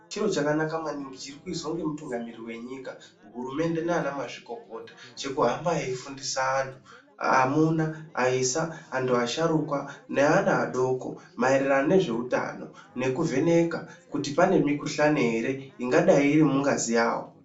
Chiro chakanaka maningi chiri kuizwa ngemutungamiriri wenyika, hurumende naanamazvikokota, chekuhamba eyifundisa anhu amuna, aisa, antu asharukwa neana adoko maererano nezveutano nekuvheneka kuti pane mikuhlani ere ingadai iri mungazi yawo.